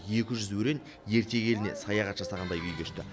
екі жүз өрен ертегі еліне саяхат жасағандай күй кешті